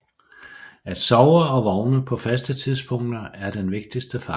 At sove og vågne på faste tidspunkter er den vigtigste faktor